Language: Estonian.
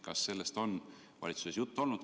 Kas sellest on valitsuses juttu olnud?